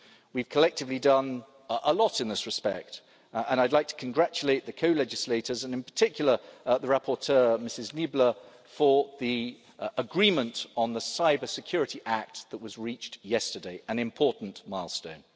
We have collectively done a lot in this respect and I'd like to congratulate the co legislators, and in particular the rapporteur, Ms Niebler, for the agreement on the Cybersecurity Act that was reached yesterday an important milestone.